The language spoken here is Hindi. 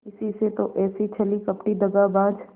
इसी से तो ऐसी छली कपटी दगाबाज